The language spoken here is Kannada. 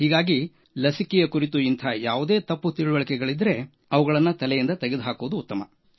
ಹೀಗಾಗಿ ಲಸಿಕೆಯ ಕುರಿತು ಇಂಥ ಯಾವುದೇ ತಪ್ಪು ತಿಳಿವಳಿಕೆಗಳಿದ್ದರೆ ಅವುಗಳನ್ನು ತಲೆಯಿಂದ ತೆಗೆದುಹಾಕುವುದು ಉತ್ತಮ